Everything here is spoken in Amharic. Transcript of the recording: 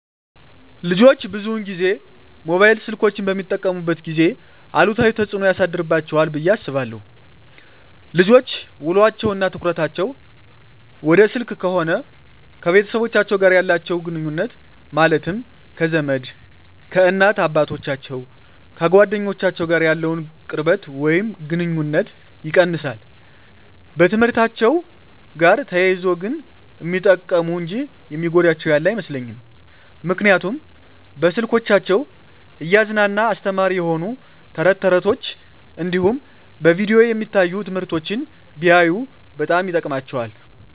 ልጆች ብዙን ጊዜ ሞባይል ስልኮችን በሚጠቀሙበት ጊዜ አሉታዊ ተፅዕኖ ያሳድርባቸዋል ብየ አስባለው ልጆች ውሎቸው እና ትኩረታቸውን ወደ ስልክ ከሆነ ከቤተሰቦቻቸው ጋር ያላቸውን ግኑኙነት ማለትም ከዘመድ፣ ከእናት አባቶቻቸው፣ ከጓደኞቻቸው ጋር ያለውን ቅርበት ወይም ግኑኝነት ይቀንሳል። በትምህርትአቸው ጋር ተያይዞ ግን ሚጠቀሙ እንጂ የሚጎዳቸው ያለ አይመስለኝም ምክንያቱም በስልኮቻቸው እያዝናና አስተማሪ የሆኑ ተረት ተረቶች እንዲሁም በቪዲዮ የሚታዩ ትምህርቶችን ቢያዩ በጣም ይጠቅማቸዋል።